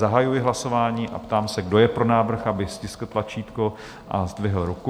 Zahajuji hlasování a ptám se, kdo je pro návrh, aby stiskl tlačítko a zdvihl ruku.